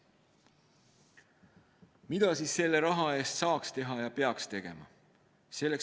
Mida selle raha eest saaks teha ja peaks tegema?